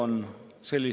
Aitäh!